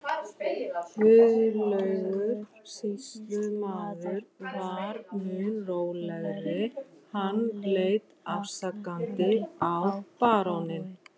Guðlaugur sýslumaður var mun rólegri, hann leit afsakandi á baróninn.